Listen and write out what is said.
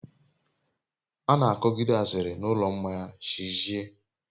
ana akogide asiri n'ulo mmanya chi jie